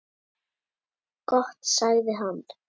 Gott sagði hann.